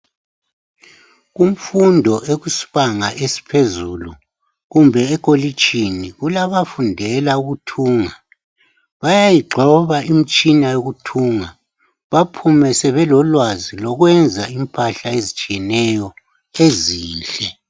Kumfundo ekusibanga esiphezulu kumbe ekolitshini kulabafundela ukuthunga. Bayayigxoba imitshina yokuthunga baphume sebelolwazi lokwenza impahla ezitshiyeneyo ezinhle.